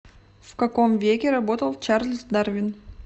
в каком веке работал чарльз дарвин